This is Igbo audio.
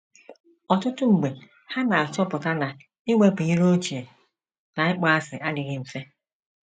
Ọtụtụ mgbe ha na - achọpụta na iwepụ iro ochie na ịkpọasị adịghị mfe.